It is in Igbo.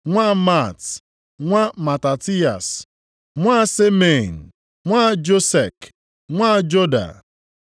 nwa Maat, nwa Matatiyas, nwa Semein, nwa Josek, nwa Joda;